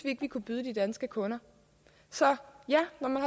ikke vi kunne byde de danske kunder så ja når man